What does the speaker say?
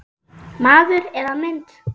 Maður eða mynd